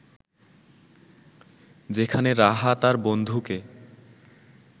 যেখানে রাহা তার বন্ধুকে